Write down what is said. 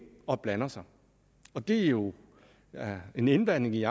og blander sig og det er jo en indblanding i